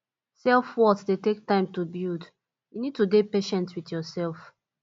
self worth dey take time to build you need to dey patient with yourself